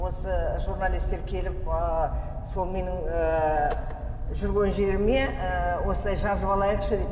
осы журналистер келіп ыыы сол менің ыыы жүрген жеріме ыыы осылай жазып алайықшы деп